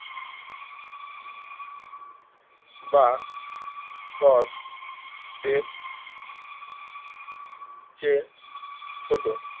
বা সব এর চেয়ে ছোট